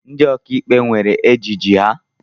Ndị ọkàikpe nwèrè ejiji ha.